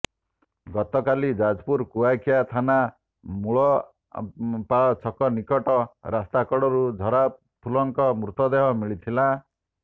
ଗତକାଲି ଯାଜପୁର କୁଆଖିଆ ଥାନା ମୂଳାପାଳ ଛକ ନିକଟ ରାସ୍ତାକଡ଼ରୁ ଝରାଫୁଲଙ୍କ ମୃତଦେହ ମିଳିଥିଲା